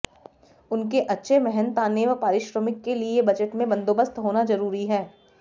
उनके अच्छे मेहनताने व पारिश्रमिक के लिए बजट में बंदोबस्त होना जरूरी है